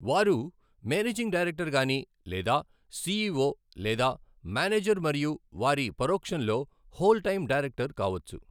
వారు managing director గాని లేదా సిఈఒ లేదా మేనేజర్ మరియు వారి పరోక్షంలో హోల్ టైమ్ డైరెక్టర్ కావొచ్చు.